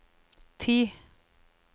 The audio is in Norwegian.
ti